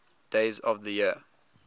days of the year